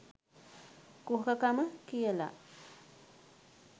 කුහකකම කියලා.